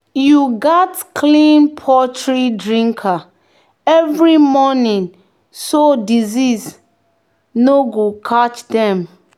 "you gats clean poultry drinker every morning so disease no go catch dem."